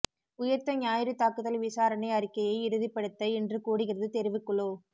உயிர்த்த ஞாயிறு தாக்குதல் விசாரணை அறிக்கையை இறுதிப்படுத்த இன்று கூடுகிறது தெரிவுக்குழு